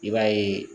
I b'a ye